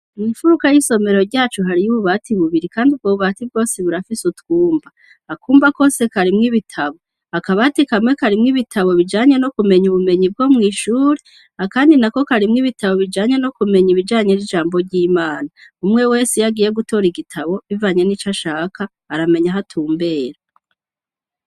Mwimfuruka y'isomero ryacu hari y'ububati bubiri kandi ubwo bubati bwose burafise utwumba. Akumba kose karimw' ibitabo akabati kamwe karimw' ibitabo bijanye no kumenya ubumenyi bwo mw'ishuri, akandi na ko karimw' ibitabo bijanye no kumenya ibijanye n'ijambo ry'Imana ,umwe wese yagiye gutora igitabo bivanye n'ico ashaka aramenya ahatumbera.